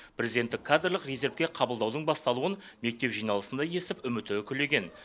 президенттік кадрлық резервке қабылдаудың басталуын мектеп жиналысында естіп үміті үкілеген